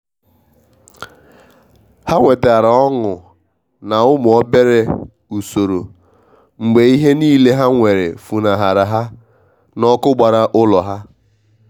ha nwetara ọṅụ na umu obere usoro mgbe ihe niile ha nwere funahara ha na ọkụ gbara ulọ ha.